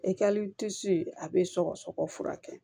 E ka a bɛ sɔgɔsɔgɔ fura kɛ